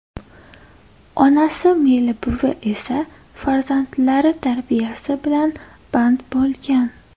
Onasi Melibuvi esa farzandlari tarbiyasi bilan band bo‘lgan.